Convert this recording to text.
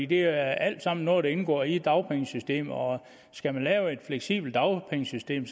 det er alt sammen noget der indgår i dagpengesystemet og skal man lave et fleksibelt dagpengesystem